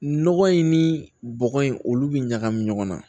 Nɔgɔ in ni bɔgɔ in olu bɛ ɲagami ɲɔgɔn na